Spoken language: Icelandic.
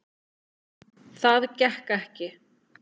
Það gekk ekki